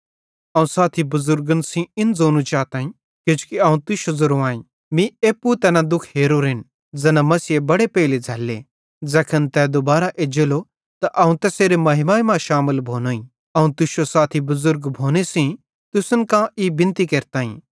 अवं साथी बुज़ुर्गन सेइं इन ज़ोनू चाताईं किजोकि अवं तुश्शो ज़ेरो आईं मीं एप्पू तैना दुःख हेरोरेन ज़ैना मसीहे बड़े पेइले झ़ैल्ले ज़ैखन तै दुबारां एज्जेलो त अवं तैसेरे महिमा मां शामिल भोनोईं अवं तुश्शो साथी बुज़ुर्ग भोने सेइं तुसन कां ई बिनती केरताईं